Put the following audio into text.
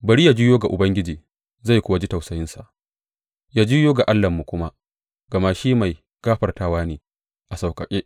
Bari yă juyo ga Ubangiji, zai kuwa ji tausayinsa, ya juyo ga Allahnmu kuma, gama shi mai gafartawa ne a sauƙaƙe.